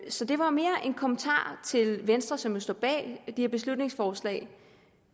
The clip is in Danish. så det var mere en kommentar til venstre som jo står bag de her beslutningsforslag